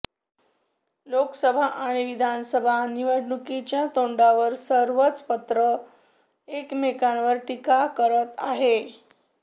लोकसभा आणि विधानसभा निवडणुकीच्या तोंडावर सर्वच पत्र एकमेकांवर टीका करत आहे